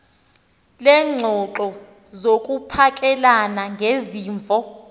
leengxoxo zokuphakelana ngezimvo